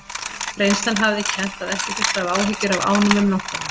Reynslan hafði kennt að ekki þurfti að hafa áhyggjur af ánum um nóttina.